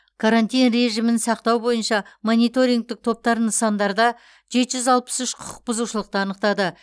карантин режимін сақтау бойынша мониторингтік топтар нысандарда жеті жүз алпыс үш құқық бұзушылықты анықтады